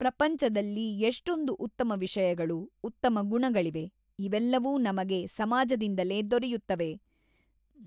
ಪ್ರಪಂಚದಲ್ಲಿ ಎಷ್ಟೊಂದು ಉತ್ತಮ ವಿಷಯಗಳು, ಉತ್ತಮ ಗುಣಗಳಿವೆ, ಇವೆಲ್ಲವೂ ನಮಗೆ ಸಮಾಜದಿಂದಲೇ ದೊರೆಯುತ್ತವೆ.